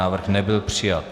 Návrh nebyl přijat.